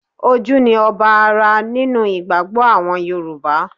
Ojú ni ọba ara nínú ìgbàgbọ́ àwọn Yorùbá